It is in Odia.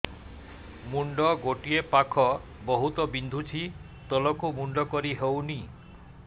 ମୁଣ୍ଡ ଗୋଟିଏ ପାଖ ବହୁତୁ ବିନ୍ଧୁଛି ତଳକୁ ମୁଣ୍ଡ କରି ହଉନି